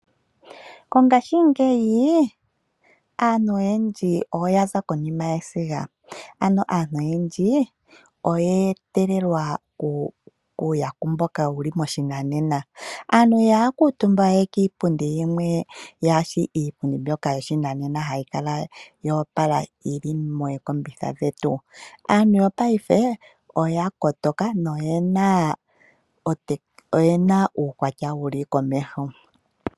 Mongashingeyi aantu oyendji oya za konima yesiga ano aantu oyendji oyeetelelwa uuyaku mboka wu li moshinanena. Aantu ihaya kuutumba we kiipundi yimwe kaa yi shi iipundi yopashinanena hayi kala ya opala yili mookombitha dhetu. Aantu yongashingeyi oyena uukwatya wu li komeho.